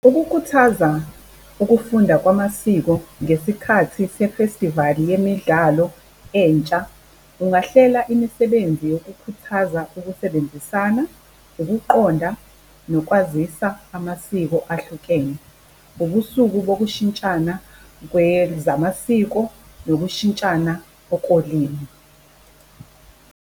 Ukukhuthaza ukufunda kwamasiko ngesikhathi sefestivali yemidlalo entsha, ungahlela imisebenzi yokukhuthaza ukusebenzisana, ukuqonda nokwazisa amasiko ahlukene. Ubusuku bokushintshana kwezamasiko nokushintshana okulimu.